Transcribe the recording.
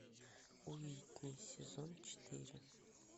уитни сезон четыре